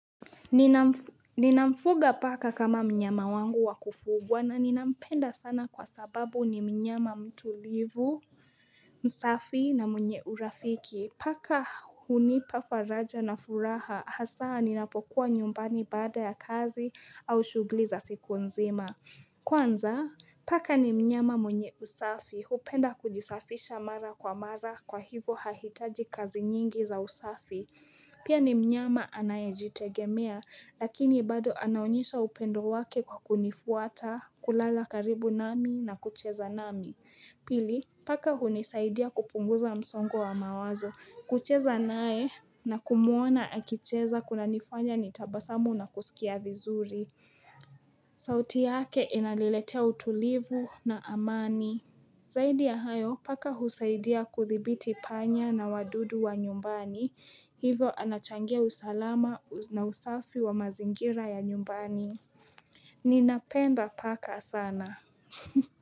Nina mfuga paka kama mnyama wangu wakufugwa na ninampenda sana kwa sababu ni mnyama mtulivu msafi na mwenye urafiki, Paka hunipa faraja na furaha hasaa ninapokuwa nyumbani baada ya kazi au shugli za siku nzima. Kwanza paka ni mnyama mwenye usafi hupenda kujisafisha mara kwa mara kwa hivyo hahitaji kazi nyingi za usafi Pia ni mnyama anaye jitegemea lakini bado anaonyesha upendo wake kwa kunifuata kulala karibu nami na kucheza nami. Pili paka hunisaidia kupunguza msongo wa mawazo kucheza nae na kumuona akicheza kuna nifanya nitabasamu na kusikia vizuri sauti yake inaniletea utulivu na amani. Zaidi ya hayo paka husaidia kudhibiti panya na wadudu wa nyumbani. Hivyo anachangia usalama na usafi wa mazingira ya nyumbani, Ninapenda paka sana.